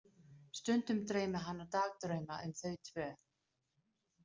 Stundum dreymir hana dagdrauma um þau tvö.